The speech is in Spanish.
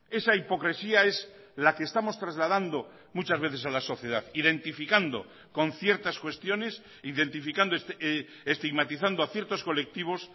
esa hipocresía es la que estamos trasladando muchas veces a la sociedad identificando con ciertas cuestiones identificando estigmatizando a ciertos colectivos